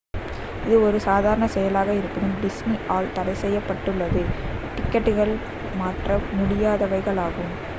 இது ஒரு சாதாரண செயலாக இருப்பினும் disney ஆல் தடைசெய்யப்பட்டுள்ளது டிக்கெட்டுகள் மாற்ற முடியாதவைகளாகும்